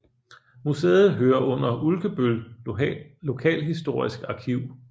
Museet hører under Ulkebøl Lokalhistorisk Arkiv